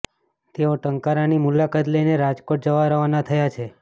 તેઓ ટંકારાની મુલાકાત લઈને રાજકોટ જવા રવાના થયા છે